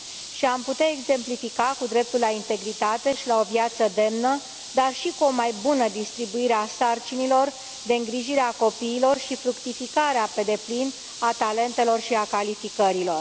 Și am putea exemplifica cu dreptul la integritate și la o viață demnă, dar și cu o mai bună distribuire a sarcinilor de îngrijire a copiilor și fructificarea pe deplin a talentelor și a calificărilor.